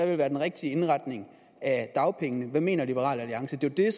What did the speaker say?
vil være den rigtige indretning af dagpengene hvad mener liberal alliance det er